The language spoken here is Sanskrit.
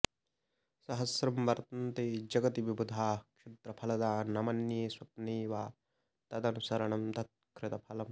सहस्रं वर्तन्ते जगति विबुधाः क्षुद्रफलदा न मन्ये स्वप्ने वा तदनुसरणं तत्कृतफलम्